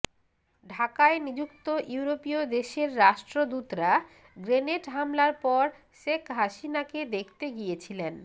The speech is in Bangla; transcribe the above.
ঢাকায় নিযুক্ত ইউরোপীয় দেশের রাষ্ট্রদূতরা গ্রেনেড হামলার পর শেখ হাসিনাকে দেখতে গিয়েছিলেন